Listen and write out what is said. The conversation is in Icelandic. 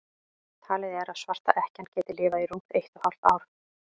talið er að svarta ekkjan geti lifað í rúmt eitt og hálft ár